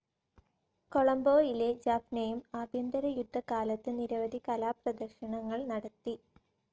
കൊളംബോയിലെ ജാഫ്‌നയിലും ആഭ്യന്തരയുദ്ധ കാലത്തു നിരവധി കലാപ്രേദര്ശനങ്ങൾ നടത്തി.